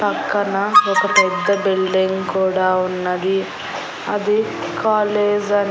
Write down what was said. పక్కన పెద్ద పెద్ద బిల్డింగ్ కూడా ఉన్నది అది కాలేజ్ అ--